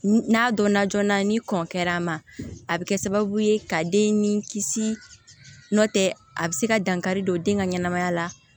N'a dɔnna joona ni kɔn kɛra a ma a be kɛ sababu ye ka den ni kisi nɔn tɛ a bi se ka dankari don den ka ɲɛnɛmaya la